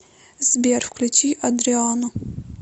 сбер включи адриано